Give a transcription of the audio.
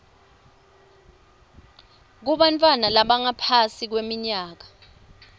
kubantfwana labangaphansi kweminyaka